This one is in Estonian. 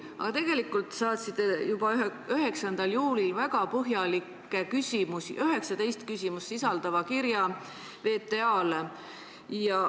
Aga tegelikult te saatsite juba 9. juulil 19 väga põhjalikku küsimust sisaldava kirja VTA-le.